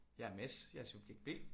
Jeg er Mads. Jeg er subjekt B